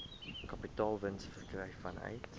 kapitaalwins verkry vanuit